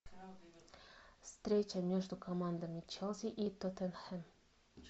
встреча между командами челси и тоттенхэм